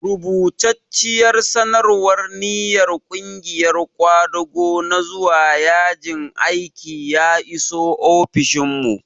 Rubatacciyar sanarwar ninyar ƙungiyar ƙwadago na zuwa yajin aiki ya iso ofishinmu.